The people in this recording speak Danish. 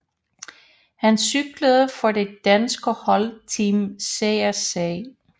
Han cyklede for det danske hold Team CSC